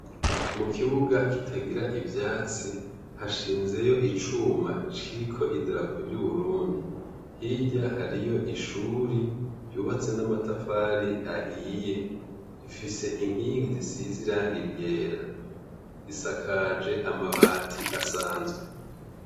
Mu kibuga kitagira ivyatsi, hashinzeyo icuma kiriko idarapo ry'uburundi. Hirya hariyo ishuri ryubatse n'amatafari ahiye. Rifise inkingi zisize irangi ryera. Risakaje amabati asanzwe.